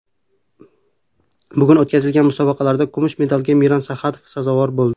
Bugun o‘tkazilgan musobaqalarda kumush medalga Miran Saxadov sazovor bo‘ldi.